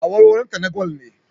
Awarwaronta na gwal ne